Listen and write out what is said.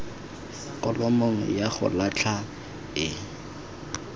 kholomong ya go latlha e